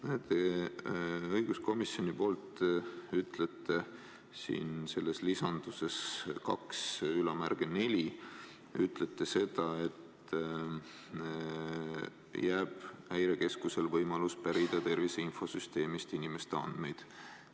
Te ütlete õiguskomisjoni poolt eelnõu § 1 lõike 12 punktis 24 seda, et Häirekeskusele jääb võimalus pärida tervise infosüsteemist inimeste andmeid.